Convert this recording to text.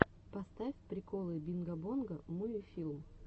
поставь приколы бинго бонго муви фильм